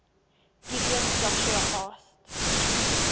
gibeon joshua asked